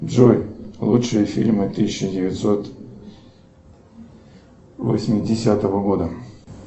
джой лучшие фильмы тысяча девятьсот восьмидесятого года